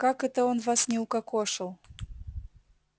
как он это вас не укокошил